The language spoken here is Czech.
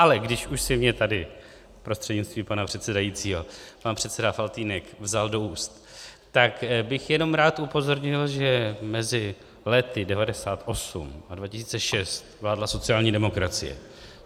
Ale když už si mě tady prostřednictvím pana předsedajícího pan předseda Faltýnek vzal do úst, tak bych jenom rád upozornil, že mezi lety 1998 a 2006 vládla sociální demokracie.